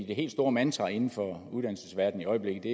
det helt store mantra inden for uddannelsesverdenen i øjeblikket